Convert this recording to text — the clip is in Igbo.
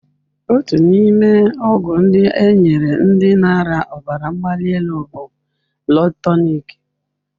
Otu n'ime ọgwụ ndị e nyere ndị na-arịa ọbara mgbali elu bụ Blood Tonic.